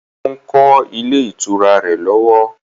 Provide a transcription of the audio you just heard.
Ó ń kọ́ ilé ìtura rẹ̀ lọ́wọ́